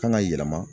Kan ka yɛlɛma